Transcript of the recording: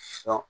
Sɔn